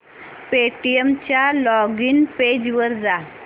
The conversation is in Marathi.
पेटीएम च्या लॉगिन पेज वर जा